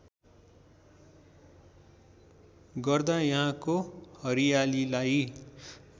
गर्दा यहाँको हरियालीलाई